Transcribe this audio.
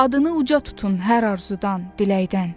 Adını uca tutun hər arzudan, diləkdən.